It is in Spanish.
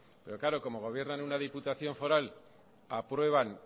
pero claro como gobiernan una diputación foral aprueban